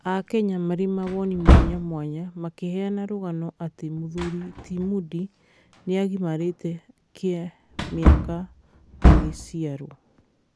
Aaakenya marĩ mawoni mwanya mwanya, makĩheana rũgano atĩ mũthuri ti Moody nĩagimarĩte kĩmĩaka magĩciarwo